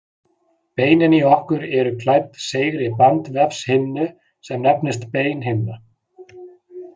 Beinin í okkur eru klædd seigri bandvefshimnu sem nefnist beinhimna.